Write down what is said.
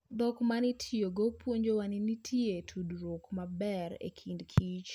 Dhok ma nitiyogo puonjowa ni nitie tudruok maber e kind kich.